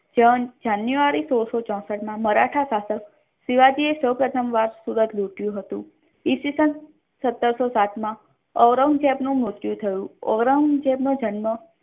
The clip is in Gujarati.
ત્રણ જાનુરાય સોળસો ચૌસઠ મા મરાઠા શાસક શિવાજી એ સૌપ્રથમ વાર સુરત લુટ્યુ હતુ ઇતિ સન સાતસો સાત મા ઔરંગઝેબ નુ મ્ર્ત્યુ થયુ ઔરંગઝેબ નો જન્મ